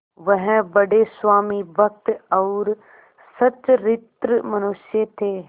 वह बड़े स्वामिभक्त और सच्चरित्र मनुष्य थे